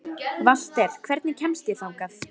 Valter, hvernig kemst ég þangað?